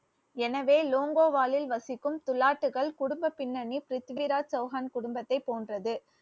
எனவே லோங்கோவாலில் வசிக்கும் துலாட்டுகள் குடும்ப பின்னணி பிரித்திவிராஜ் சௌஹான் குடும்பத்தைப் போன்றது